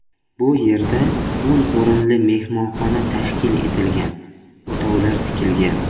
Bu yerda o‘n o‘rinli mehmonxona tashkil etilgan, o‘tovlar tikilgan.